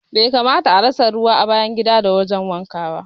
Bai kamata a rasa ruwa a bayan gida da wurin wanka ba